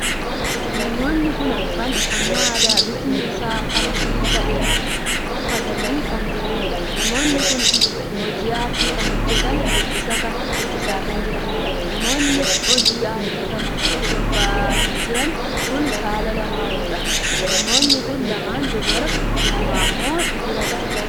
Namoonni kun arfan uffannaa aadaa bifti isaa adii kan tahe uffatanii kan jiraniidha. Namoonni kun hojii aartii kan hojjetan shubbisaa kan jiraniidha. Namoonii hojii aartii kana irratti bobbaa'anii jiran kun saala lamaanuudha. Namoonni kun lama dubaraa lama immoo dhiiradha.